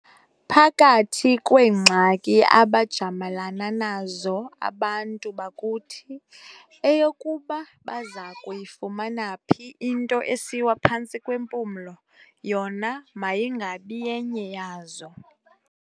Phakathi kweengxaki abajamalana nazo abantu bakuthi, eyokuba baza kuyifumana phi into esiwa phantsi kwempumlo, yona mayingabi yenye yazo.